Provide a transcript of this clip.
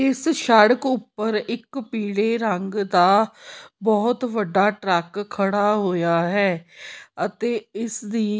ਇੱਸ ਸੜਕ ਊਪਰ ਇੱਕ ਪੀਲੇ ਰੰਗ ਦਾ ਬਹੁਤ ਵੱਡਾ ਟਰੱਕ ਖੜਾ ਹੋਇਆ ਹੈ ਅਤੇ ਇਸਦੀ --